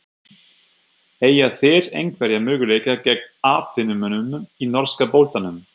Eiga þeir einhverja möguleika gegn atvinnumönnunum í norska boltanum?